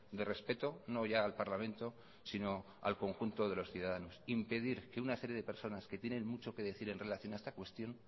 de respeto no ya al parlamento sino al conjunto de los ciudadanos impedir que una serie de personas que tienen mucho que decir en relación a esta cuestión